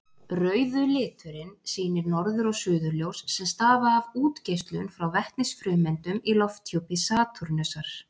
Rauðu liturinn sýnir norður- og suðurljós sem stafa af útgeislun frá vetnisfrumeindum í lofthjúpi Satúrnusar.